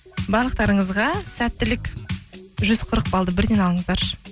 барлықтарыңызға сәттілік жүз қырық балды бірден алыңыздаршы